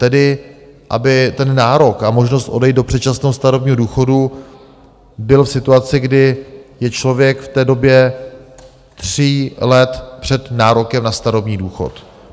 Tedy aby ten nárok a možnost odejít do předčasného starobního důchodu byl v situaci, kdy je člověk v té době tří let před nárokem na starobní důchod.